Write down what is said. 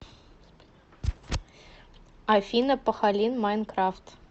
афина пахалин майнкрафт